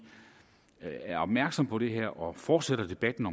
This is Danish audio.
er opmærksom på det her og fortsætter debatten